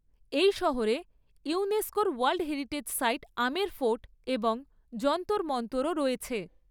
এই শহরে ইউনেস্কোর ওয়ার্ল্ড হেরিটেজ সাইট আমের ফোর্ট এবং যন্তর মন্তরও রয়েছে।